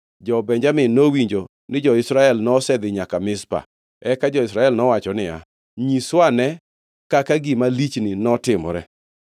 Jo-Benjamin nowinjo ni jo-Israel nosedhi nyaka Mizpa. Eka jo-Israel nowacho niya, “Nyiswane kaka gima lichni notimore.”